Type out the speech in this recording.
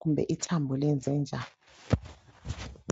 kumbe ithambo lenze njani